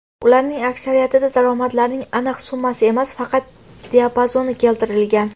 Ularning aksariyatida daromadlarning aniq summasi emas, faqat diapazoni keltirilgan.